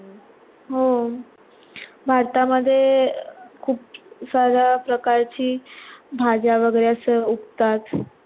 हो भरता मध्ये अं खूप सगळं प्रकारची भाज्या वगैरे अस उगतात